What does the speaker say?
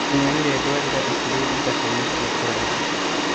Nĩnyonire thwariga ikĩrĩa ithaka-inĩ cia kũraihu